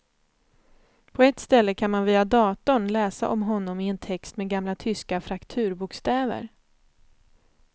På ett ställe kan man via datorn läsa om honom i en text med gamla tyska frakturbokstäver.